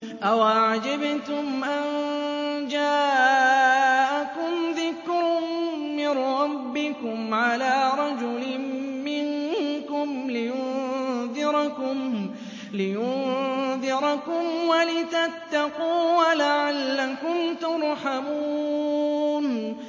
أَوَعَجِبْتُمْ أَن جَاءَكُمْ ذِكْرٌ مِّن رَّبِّكُمْ عَلَىٰ رَجُلٍ مِّنكُمْ لِيُنذِرَكُمْ وَلِتَتَّقُوا وَلَعَلَّكُمْ تُرْحَمُونَ